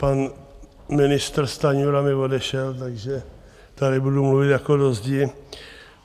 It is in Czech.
Pan ministr Stanjura mi odešel, takže tady budu mluvit jako do zdi.